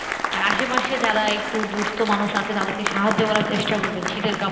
আর আশেপাশে যারা এই দুস্থ মানুষ আছে তাদের কে সাহায্য করার চেষ্টা করবেন শীতের কাপড়